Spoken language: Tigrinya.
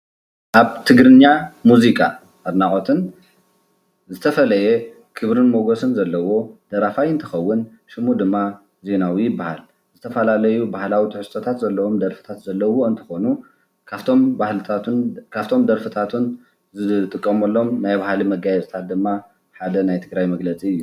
ኣብ ትግርኛ ሙዚቓ ኣድናቖትን ዝተፈለየ ክብርን ሞገስን ዘለዎ ደራፋይ እንትኸውን ሽሙ ድማ ዜናዊ ይበሃል፡፡ ዝተፈላለዩ ባህላዊ ትሕዝቶታት ዘለዎም ደርፍታት ዘለዉዎ እንትኾኑ ካብቶም ደርፍታቱን ዝጥቀመሎም ናይ ባህሊ መጋየፅታት ድማ ሓደ ናይ ትግራይ መግለፂ እዩ፡፡